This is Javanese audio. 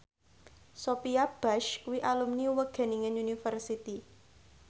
Sophia Bush kuwi alumni Wageningen University